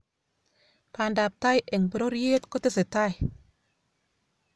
pandaptai eng pororyet kotesetai